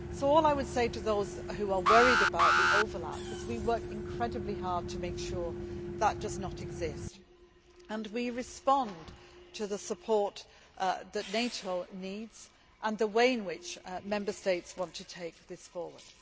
So all I would say to those who are worried about the overlap is that we work incredibly hard to make sure that does not exist and we respond to the support that NATO needs and the way in which Member States want to take this forward.